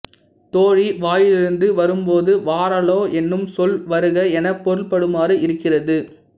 தோழி வாயிலிருந்து வரும்போது வாரலோ என்னும் சொல் வருக எனப் பொருள்படுமாறு இருக்கிறது